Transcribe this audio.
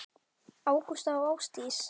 Ágústa og Ásdís.